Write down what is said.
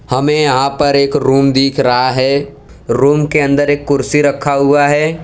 हमे यहां पर एक रूम दिख रहा है रूम के अंदर एक कुर्सी रखा हुआ है।